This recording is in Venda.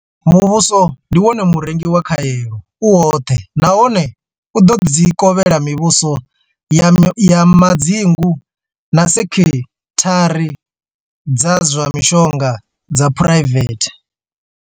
Muvhuso ndi wone murengi wa khaelo u woṱhe nahone u ḓo dzi kovhela mivhuso ya madzingu na sekhithara dza zwa mishonga dza phuraivethe.